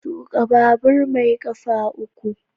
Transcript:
Tuka babur mai kafa uku.